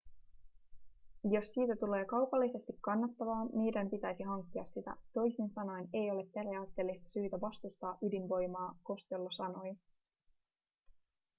jos siitä tulee kaupallisesti kannattavaa meidän pitäisi hankkia sitä toisin sanoen ei ole periaatteellista syytä vastustaa ydinvoimaa costello sanoi